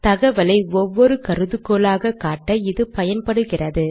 தகவலை ஒவ்வொரு கருதுகோளாக காட்ட இது பயன்படுகிறது